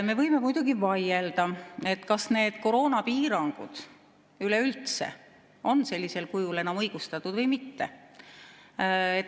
Me võime muidugi vaielda, kas need koroonapiirangud üleüldse on sellisel kujul enam õigustatud või mitte.